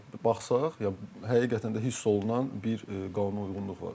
Yəni baxsaq, həqiqətən də hiss olunan bir qanunauyğunluq var.